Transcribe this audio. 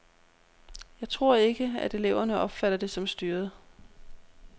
Jeg tror ikke, at eleverne opfatter det som styret.